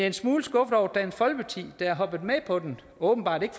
en smule skuffet over dansk folkeparti der er hoppet med på den og åbenbart ikke